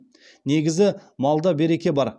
негізі малда береке бар